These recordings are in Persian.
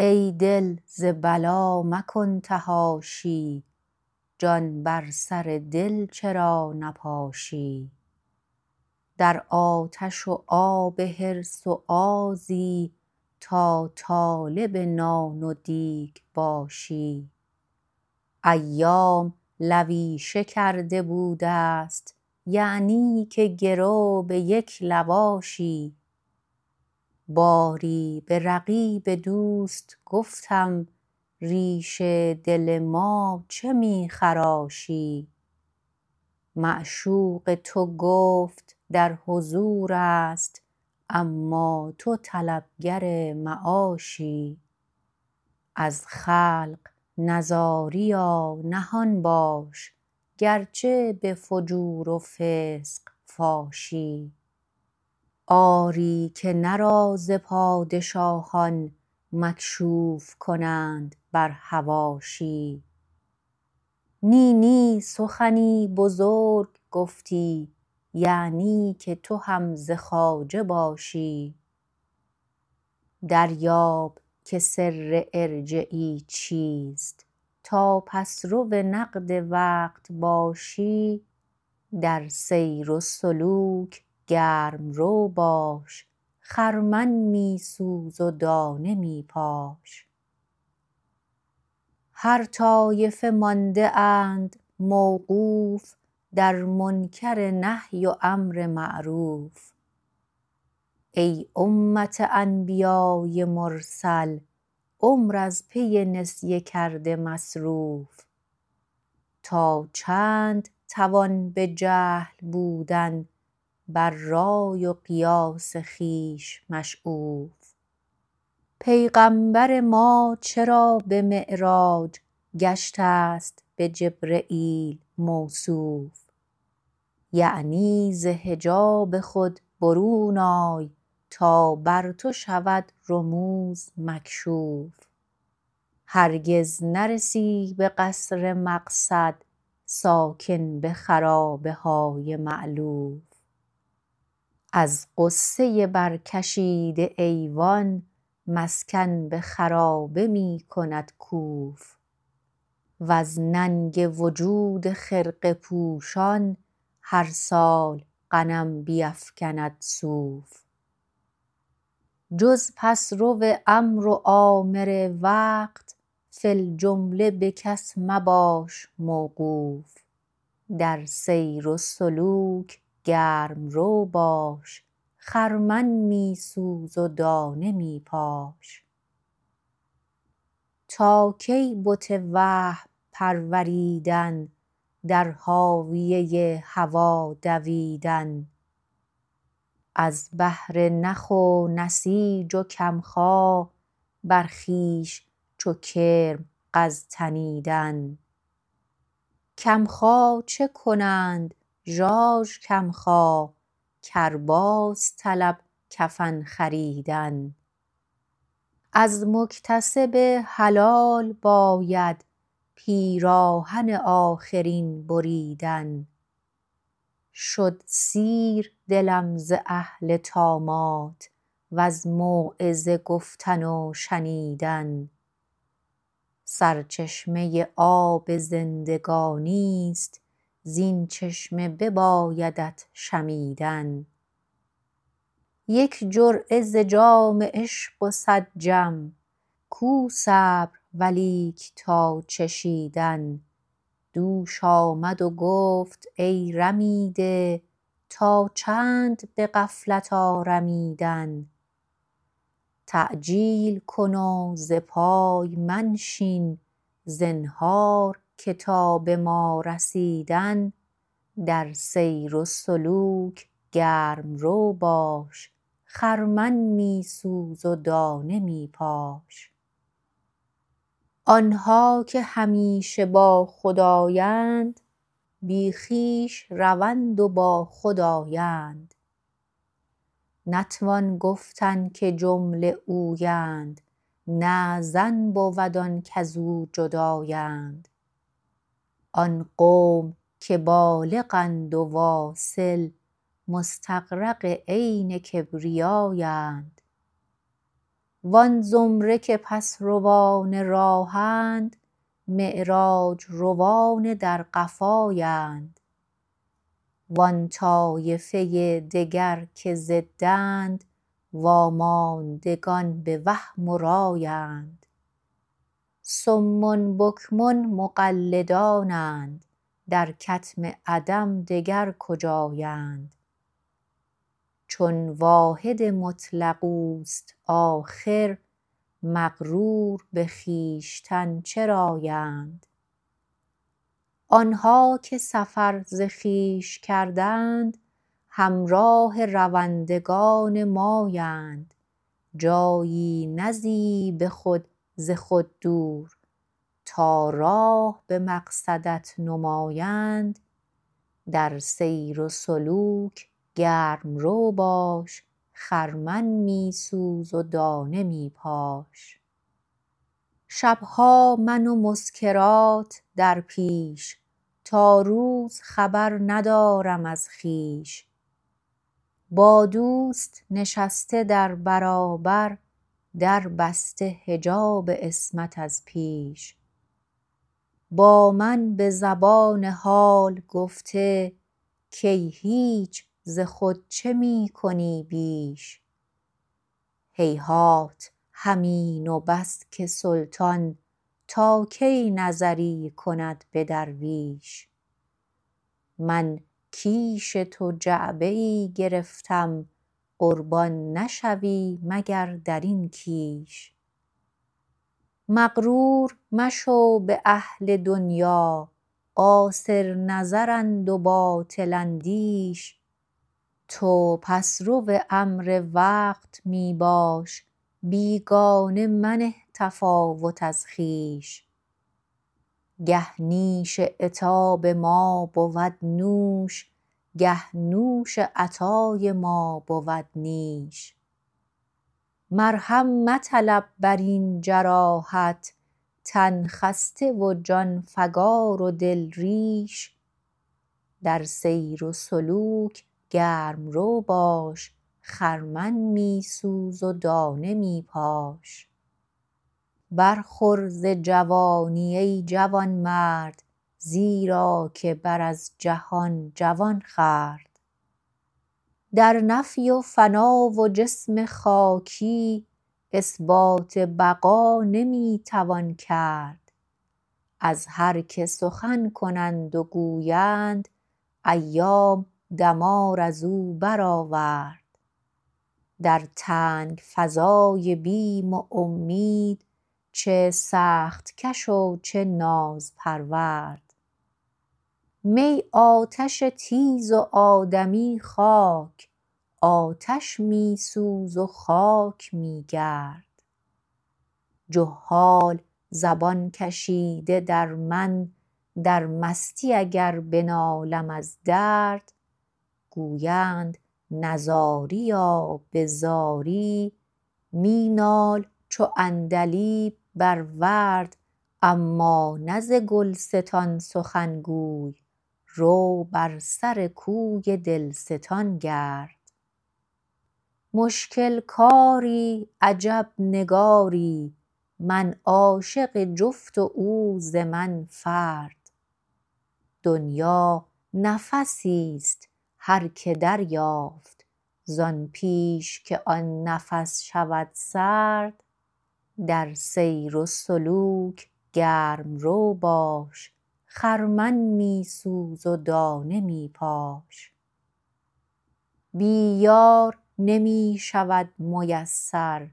ای دل ز بلا مکن تحاشی جان بر سر دل چرا نباشی در آتش و آب حرص و آزی تا طالب نان و دیگ باشی ایام لویشه کرده بوده ست یعنی که گرو به یک لواشی باری به رقیب دوست گفتم ریش دل ما چه می خراشی معشوق تو گفت در حضورست اما تو طلب گر معاشی از خلق نزاریا نهان باش گرچه به فجور و فسق باشی آری که نه راز پادشاهان مکشوف کنند بر حواشی نی نی سخنی بزرگ گفتی یعنی که تو هم ز خواجه تاشی دریاب که سر ارجعی چیست تا پس رو نقد وقت باشی در سیر و سلوک گرم رو باش خرمن می سوز و دانه می پاش هر طایفه مانده اند موقوف در منکر نهی و امر معروف ای امت انبیای مرسل عمر از پی نسیه کرده مصروف تا چند توان به جهل بودن بر رای و قیاس خویش مشعوف پیغمبر ما چرا به معراج گشته ست به جبرییل موصوف یعنی ز حجاب خود برون آی تا بر تو شود رموز مکشوف هرگز نرسی به قصر مقصد ساکن به خرابه های مالوف از غصه بر کشیده ایوان مسکن به خرابه می کند کوف وز ننگ وجود خرقه پوشان هرسال غنم بیفگند صوف جز پس رو امر و آمر وقت فی الجمله به کس مباش موقوف در سیر و سلوک گرم رو باش خرمن می سوز و دانه می پاش تا کی بت وهم پروریدن در هاویه هوا دویدن از بهر نخ و نسیج و کم خا بر خویش چو کرم غز تنیدن کم خا چه کنند ژاژ کم خا کرباس طلب کفن خریدن ار مکتسب حلال باید پیراهن آخرین بریدن شد سیر دلم ز اهل طامات وز موعظه گفتن و شنیدن سرچشمه آب زندگانی ست زین چشمه ببایدت شمیدن یک جرعه ز جام عشق و سد جم کو صبر و لیک تا چشیدن دوش آمد و گفت ای رمیده تا چند به غفلت آرمیدن تعجیل کن و زپای منشین زنهار که تا به ما رسیدن در سیر و سلوک گرم رو باش خرمن می سوز و دانه می پاش آن ها که همیشه با خدایند بی خویش روند و با خود آیند نتوان گفتن که جمله اویند نه ظن بود آن کزو جدایند آن قوم که بالغ اند و واصل مستغرق عین کبریای اند و آن زمره که پس روان راهند معراج روان در قفایند و آن طایفه دگر که ضدند واماندگان به وهم و رایند صم بکم مقلدانند در کتم عدم دگر کجایند جون واحد مطلق اوست آخر مغرور به خویشتن چراند آن ها که سفر ز خویش کردند هم راه روندگان مایند جایی نزیی به خود ز خود دور تا راه به مقصدت نمایند در سیر و سلوک گرم رو باش خرمن می سوز و دانه می پاش شب ها من و مسکرات در پیش تا روز خبر ندارم از خویش با دوست نشسته در برابر دربسته حجاب عصمت از پیش با من به زبان حال گفته کای هیچ ز خود چه می کنی پیش هیهات همین و بس که سلطان تا کی نطری کند به درویش من کیش تو جعبه ای گرفتم قربان نشوی مگر درین کیش مغرور مشو به اهل دنیا قاصر نظرند و باطل اندیش تو پس رو امر وقت می باش بیگانه منه تفاوت از خویش گه نیش عتاب ما بود نوش گه نوش عطای ما بود نیش مرهم مطلب برین جراحت من خسته و جان فگار و دل ریش در سیر و سلوک گرم رو باش خرمن می سوز و دانه می پاش برخور ز جوانی ای جوان مرد زیرا که بر از جهان جوان خورد در نفی و فنا و جسم خاکی اثبات بقا نمی توان کرد از هر که سخن کنند و گویند ایام دمار ازو برآورد در تنگ فضای بیم و امید چه سخت کش و چه نازپرورد می آتش تیز و آدمی خاک آتش می سوز و خاک می گرد جهال زبان کشیده در من در مستی اگر بنالم از درد گویند نزاریا به زاری منال چو عندلیب بر ورد اما نه ز گلستان سخن گوی رو بر سر کوی دل ستان گرد مشکل کاری عجب نگاری من عاشق جفت و او ز من فرد دنیا نفسی ست هرکه دریافت زآن پیش که آن نفس شود سرد در سیر و سلوک گرم رو باش خرمن می سوز و دانه می پاش بی یار نمی شود میسر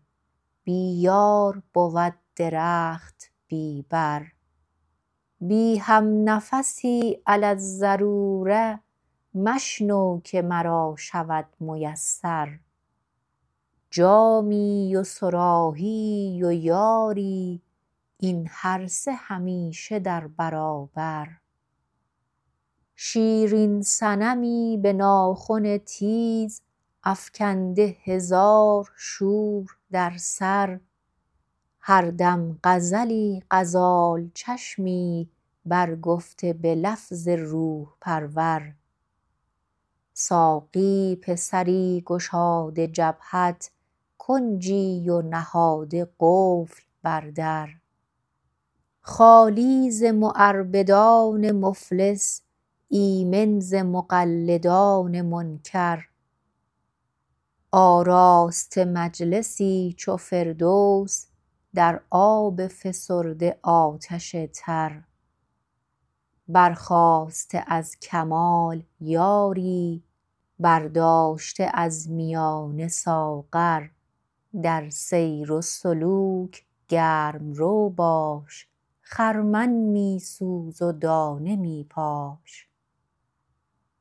بی یار بود درخت بی بر بی هم نفسی علی الضروره مشنو که مرا شود میسر جامی و صراحیی و یاری این هر سه همیشه در برابر شیرین صنمی به ناخن تیز افکنده هزار شور در سر هر دم غزلی غزال چشمی برگفته به لفظ روح پرور ساقی پسری گشاده جبهت کنجی و نهاده قفل بر در خالی ز معربدان مفلس ایمن ز مقلدان منکر آراسته مجلسی چو فردوس در آب فسرده آتش تر برخاسته از کمال یاری برداشته از میانه ساغر در سیر و سلوک گرم رو باش خرمن می سوز و دانه می پاش